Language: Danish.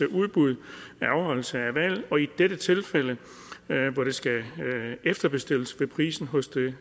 udbud ved afholdelse af valg og i dette tilfælde hvor det skal efterbestilles vil prisen hos det